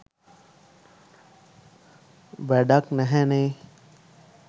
වැඩක් නැහැනේ.